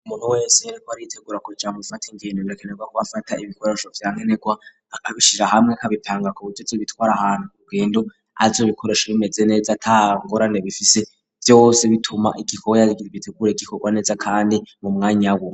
Umuntu wese waritegura kujamufata ingendo rirekenerwa ko bafata ibikoresho byankenerwa akabishira hamwe nka bipanga ku butezi bitwara ahantu rugendo ayo bikoresho bimeze neza atangorane bifise byose bituma igikorwa yarigie bitegura igikorwa neza kandi mu mwanya we.